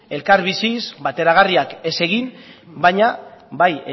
elkar biziz bateragarriak ez egin baina bai